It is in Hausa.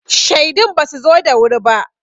Shaidun ba su zo da wuri ba.